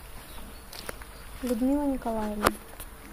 людмила николаевна